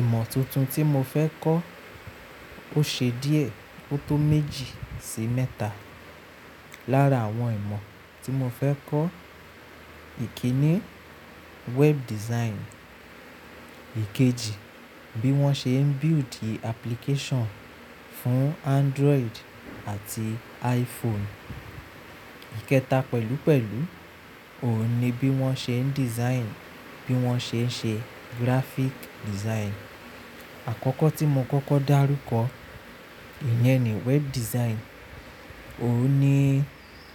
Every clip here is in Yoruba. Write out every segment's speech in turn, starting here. Ìmọ̀ tuntun tí mo fẹ́ kọ́, ó ṣe díẹ̀ ó tó méjì sí mẹ́ta. Lára àwọn ìmọ̀ tí mo fẹ́ kọ́, ìkíni web design. Ikeji, bí wọ́n ṣe ń build application fún Android àti iPhone. Ikẹta pẹ̀lúpẹ̀lú, òun ni bí wọ́n ṣe ń design, bí wọ́n ṣe ń ṣe graphic design. Àkọ́kọ́ tí mo kọ́kọ́ dárúkọ, ìyẹn ni web design. Òun ni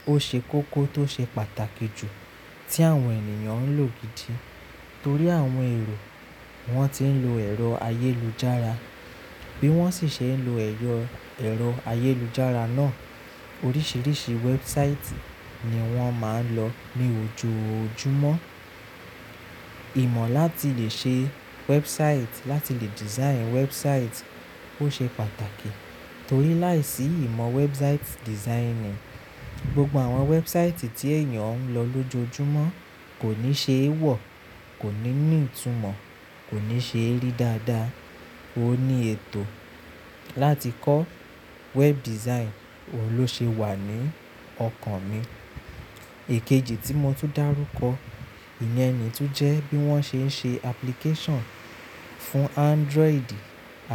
ó ṣe kókó tó ṣe pàtàkì jù tí àwọn ènìyàn ń lò gidi torí àwọn èrò wọ́n ti ń lo ẹ̀rọ ayélujára, bí wọ́n sì ṣe ń lo ẹ̀rọ ayélujára náà, oríṣiríṣi website ni wọ́n máa ń lọ ní ojoojúmọ́. Ìmọ̀ láti lè ṣe website, láti lè design website ó ṣe pàtàkì torí láìsí ìmọ̀ website designing, gbogbo àwọn website tí ènìyàn ń lọ lójojúmọ́ kò ní ṣe é wọ̀, kò ní ní ìtumọ̀, kò ní ṣe é rí dáadáa. O ni ètò láti kọ́ web design, òun ló ṣe wà ní ọkàn mi. Ikeji tí mo tún dárúkọ, ìyẹn ni tún jẹ́ bí wọ́n ṣe ń ṣe application fún Android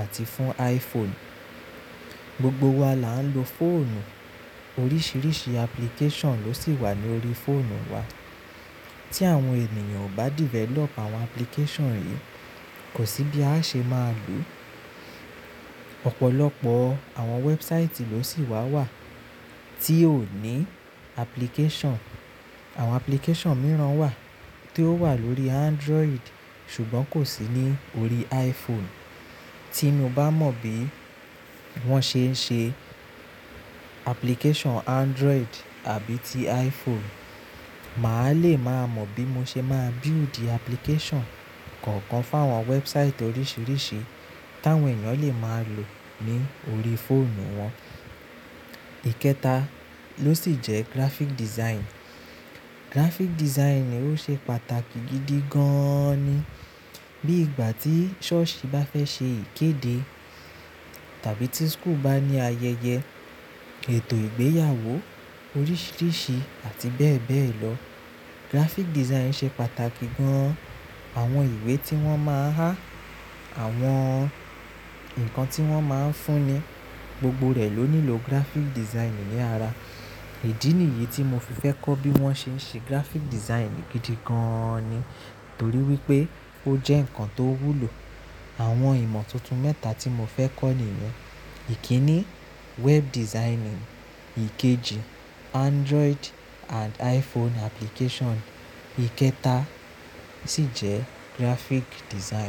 àti fún iPhone. Gbogbo wa là ń lo fóònù, oríṣiríṣi application ló sì wà ní orí fóònù wa. Tí àwọn ènìyàn ò bá develop àwọn application yìí, kò sí bí a ṣe máa lò. Ọ̀pọ̀lọpọ̀ àwọn website ló sì wà wà tí ó ní application. Àwọn application mìíràn wà tí ó wà lórí Android ṣùgbọ́n kò sí ní orí iPhone. Tí mo bá mọ bí wọ́n ṣe ń ṣe application Android àbí ti iPhone, màá le máa mọ bí mo ṣe máa build application kọ̀ọ̀kan fún àwọn website oríṣiríṣi táwọn ènìyàn lè máa lò ní orí fóònù wọn. Ikẹta ló sì jẹ́ graphic design. Graphic design ni ó ṣe pàtàkì gidi gaaán ni. Bí ìgbà tí ṣọ́ọ̀ṣì bá fẹ́ ṣe ìkéde tàbí tí school bá ní ayẹyẹ, ètò ìgbéyàwó oríṣiríṣi àti bẹ́ẹ̀ bẹ́ẹ̀ lọ. Graphic design ṣe pàtàkì gan-an. Àwọn ìwé tí wọ́n máa há, àwọn nǹkan tí wọ́n máa ń fún ni, gbogbo rẹ̀ ló nílò graphic design ní ara. Ìdí nìyí tí mo fi fẹ́ kọ́ bí wọ́n ṣe ń ṣe graphic design gidi gan-an ni torí wípé ó jẹ́ ǹkan tó wúlò. Àwọn ìmọ̀ tuntun mẹ́ta tí mo fẹ́ kọ́ nìyẹn. Ìkíni web designing, ikeji Android and iPhone application, ikẹta sì jẹ́ graphic design.